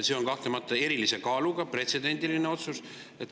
See on kahtlemata erilise kaaluga, pretsedendiline otsus.